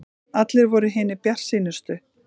Allir voru hinir bjartsýnustu.